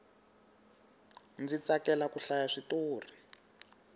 ndzi tsakela ku hlaya switori